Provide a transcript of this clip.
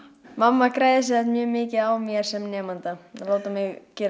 mamma græðir sem sagt mjög mikið á mér sem nemanda að láta mig gera